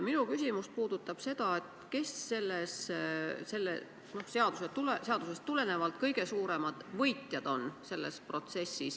Minu küsimus on, kes sellest seadusest tulenevalt on kõige suuremad võitjad.